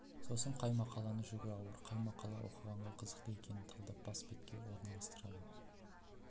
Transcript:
сосын қай мақаланың жүгі ауыр қай мақала оқығанға қызықты екенін талдап соны бас бетке орналастырады